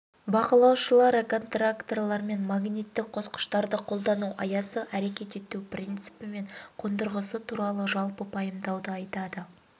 бақылаушылар контакторлар мен магниттік қосқыштарды қолдану аясы әрекет ету принципі мен қондырғысы туралы жалпы пайымдауды айтады